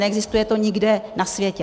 Neexistuje to nikde na světě.